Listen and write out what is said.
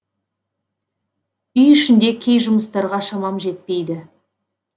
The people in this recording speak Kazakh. үй ішінде кей жұмыстарға шамам жетпейді